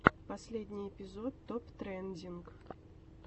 последний эпизод топ трендинг